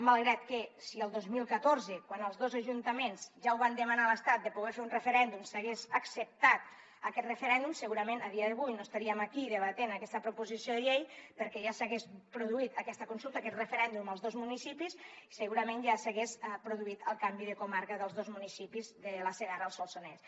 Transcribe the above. malgrat que si el dos mil catorze quan els dos ajuntaments ja ho van demanar a l’estat de poder fer un referèndum s’hagués acceptat aquest referèndum segurament a dia d’avui no estaríem aquí debatent aquesta proposició de llei perquè ja s’hagués produït aquesta consulta aquest referèndum als dos municipis i segurament ja s’hagués produït el canvi de comarca dels dos municipis de la segarra al solsonès